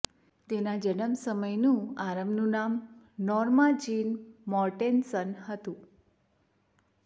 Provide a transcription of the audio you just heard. તેના જન્મ સમયનું આરંભનું નામ નોર્મા જીન મોર્ટેનસન હતું